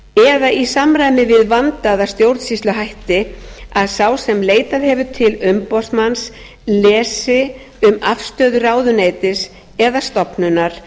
eða í samræmi við vandaða stjórnsýsluhætti að sá sem leitað hefur til umboðsmanns lesi um afstöðu ráðuneytis eða stofnunar